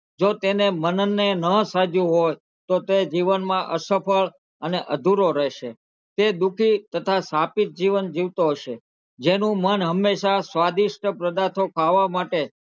જો તેને મનને નાં સાજ્યું હોત તો તે જીવનમાં અસફળ અને અધુરો રહેશે તે દુઃખી તથા શાપિત જીવન જીવતો હશે જેનું મન હમેશાં સ્વાદિષ્ટ પદાર્થો ખાવા માટે,